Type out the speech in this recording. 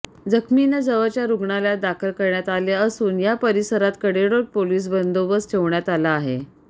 जखमींना जवळच्या रुग्णालयात दाखल करण्यात आले असून या परिसरात कडेकोट पोलीस बंदोबस्त ठेवण्यात आला आहे